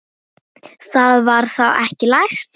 Það var þá ekki læst!